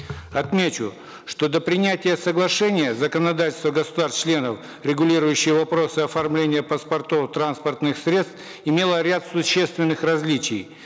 отмечу что до принятия соглашения законодательство государств членов регулирующее вопросы оформления паспортов транспортных средств имело ряд существенных различий